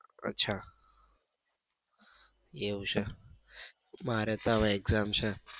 અચ્છા એવું છે મારે તો હવે exam છે